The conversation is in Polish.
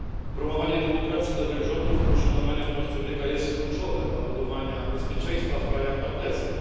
Promowanie demokracji, dobrych rządów i poszanowanie praw człowieka jest kluczowe dla budowania bezpieczeństwa w krajach partnerskich.